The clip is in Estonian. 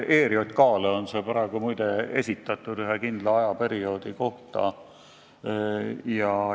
ERJK-le on see praegu muide esitatud ühe kindla ajaperioodi kohta.